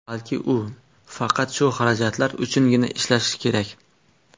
Balki, u faqat shu xarajatlar uchungina ishlasa kerak.